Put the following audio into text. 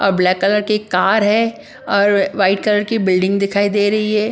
और black colour की car है और वाइट कलर की बिल्डिंग दिखाई दे रही है ।